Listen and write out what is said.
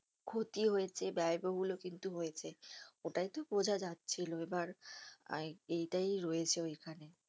ক্ষতি হয়েছে ব্যায়বহুল ও কিন্তু হয়েছে ওটাতো বোঝা যাচ্ছিলো এবার এইটাই হয়েছে ওইখানে